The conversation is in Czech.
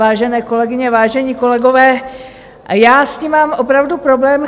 Vážené kolegyně, vážení kolegové, já s tím mám opravdu problém.